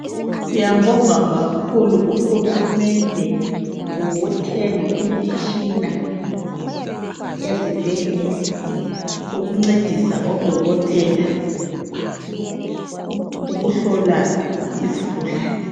Siyambonga kakhulu uhulumende ngokuthenga imitshina ezibhedlela ukuncedisa odokotela ukuhlola izigulane.